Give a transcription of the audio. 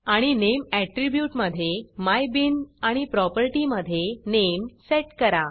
आणि name attribute मधे my bean आणि प्रॉपर्टीमधे नामे सेट करा